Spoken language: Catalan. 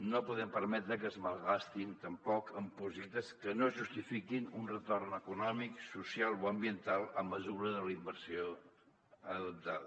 no podem permetre que es malgastin tampoc en projectes que no justifiquin un retorn econòmic social o ambiental en la mesura de la inversió adoptada